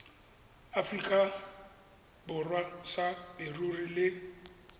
aforika borwa sa leruri le